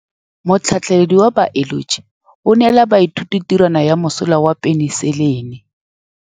Motlhatlhaledi wa baeloji o neela baithuti tirwana ya mosola wa peniselene.